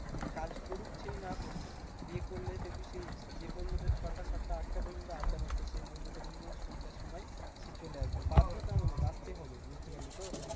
সে কাজ করুক চাই না করুক বিয়ে করলে দেখবি সেই যে বন্ধুদের ছটা সাতটা আটটা পর্যন্ত আড্ডা মারতো সেই বন্ধুটা কিন্তু সন্ধ্যার সময় সে চলে আসবে বাধ্যতামূলক আসতে হবে, বুঝতে পারলি তো?